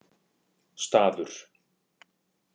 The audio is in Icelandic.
Staður